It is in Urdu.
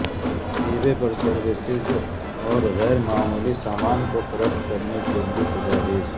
ای بے پر سروسز اور غیر معمولی سامان فروخت کرنے کے لئے تجاویز